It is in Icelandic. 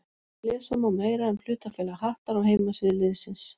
Lesa má meira um hlutafélag Hattar á heimasíðu liðsins.